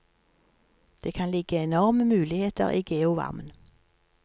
Det kan ligge enorme muligheter i geovarmen.